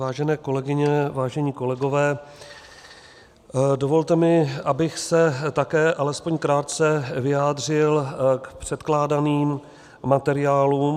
Vážené kolegyně, vážení kolegové, dovolte mi, abych se také alespoň krátce vyjádřil k předkládaným materiálům.